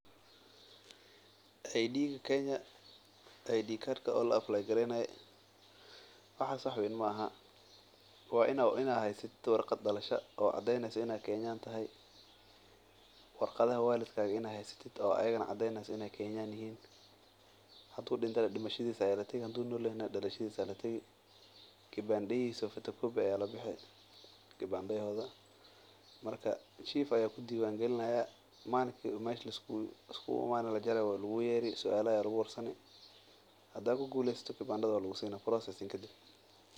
Aydiiga kenya wax weyn maahan, waa inaad haysatid warqadaha dalashada, waa inaad haysato warqadaha walidinta ama dimashada ama dalashada kadib suala ayaa lagu weydina hadaad ku guleysatid waa lagu siina.